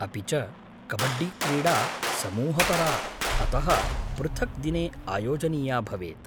अपि च कबड्डीक्रीडा समूहपरा, अतः पृथक् दिने आयोजनीया भवेत्।